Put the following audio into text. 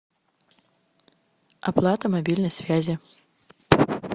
оплата мобильной связи